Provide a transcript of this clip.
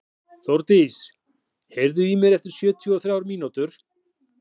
Þórdís, heyrðu í mér eftir sjötíu og þrjár mínútur.